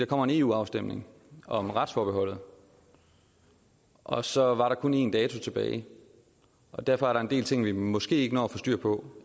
kommer en eu afstemning om retsforbeholdet og så var der kun en dato tilbage derfor er der en del ting vi måske ikke når at få styr på